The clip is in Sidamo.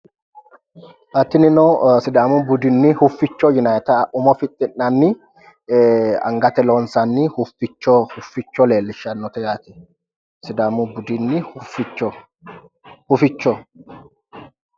Xa tinino sidaamu budinni hoficho yinanni umo fixxi'nanni angatenni loonsanni hoficho leellishshanno yaate sidaamu budunni hoficho